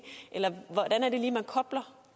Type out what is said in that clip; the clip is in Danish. eller hvordan er det lige at man kobler